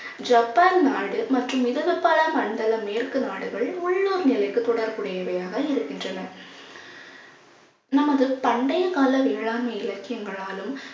Japan நாடு மற்றும் இடதுப்பாரா மண்டல மேற்கு நாடுகள் உள்ளூர் நிலைக்கு தொடர்புடையவையாக இருக்கின்றன. நமது பண்டைய கால வேளாண்மை இலக்கியங்களாலும்